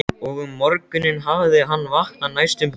Og um morguninn hafði hann vaknað næstum blindur.